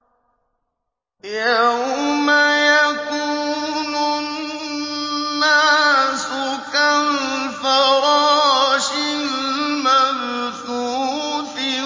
يَوْمَ يَكُونُ النَّاسُ كَالْفَرَاشِ الْمَبْثُوثِ